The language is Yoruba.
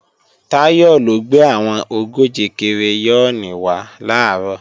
Táyọ̀ ló gbé àwọn ogóje kireyọ́ọ̀nì wá làárọ̀